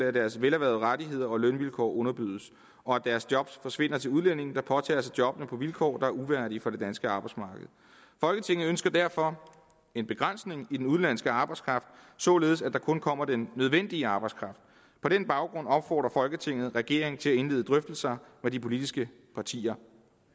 at deres velerhvervede rettigheder og lønvilkår underbydes og at deres job forsvinder til udlændinge der påtager sig jobbene på vilkår der er uværdige for det danske arbejdsmarked folketinget ønsker derfor en begrænsning af den udenlandske arbejdskraft således at der kun kommer den nødvendige arbejdskraft på den baggrund opfordrer folketinget regeringen til at indlede drøftelser med de politiske partier